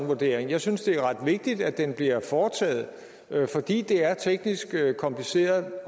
vurdering jeg synes det er ret vigtigt at den bliver foretaget fordi det er teknisk kompliceret